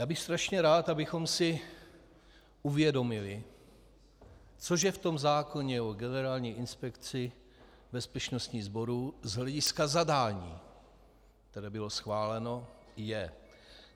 Já bych strašně rád, abychom si uvědomili, co že v tom zákoně o Generální inspekci bezpečnostní sborů z hlediska zadání, které bylo schváleno, je.